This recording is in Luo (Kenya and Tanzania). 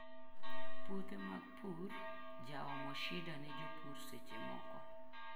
Puothe mag pur jaomo shida ne jopur secchemoko.